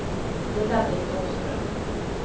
Ulla-Britt Åström